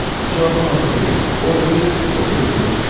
Cavaba lazım deyil, o özü o sözünü bitirmədi.